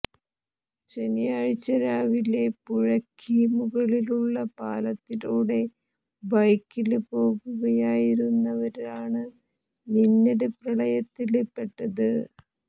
ശനിയാഴ്ച രാവിലെ പുഴയ്ക്ക് മുകളിലുള്ള പാലത്തിലൂടെ ബൈക്കില് പോകുകയായിരുന്നവരാണ് മിന്നല് പ്രളയത്തില് പ്പെട്ടത്